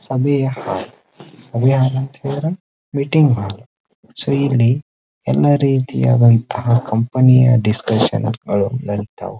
ಸಭೆಯ ಸಭೆಯ ಅಂಹ ಹೇಳಿದ್ರೆ ಮೀಟಿಂಗ್ ಸೊ ಇಲ್ಲಿ ಎಲ್ಲ ರೀತಿಯ ಕಂಪನಿಯ ಡಿಸ್ಶನ್ ಗಳು ಇರ್ತವು.